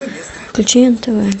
включи нтв